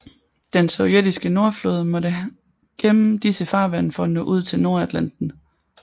Den sovjetiske nordflåde måtte gennem disse farvande for at nå ud til Nordatlanten